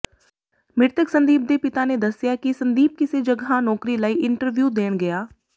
ਮਿ੍ਰਤਕ ਸੰਦੀਪ ਦੇ ਪਿਤਾ ਨੇ ਦੱਸਿਆ ਕਿ ਸੰਦੀਪ ਕਿਸੇ ਜਗ੍ਹਾ ਨੌਕਰੀ ਲਈ ਇੰਟਰਵਿਊ ਦੇਣ ਗਿਆ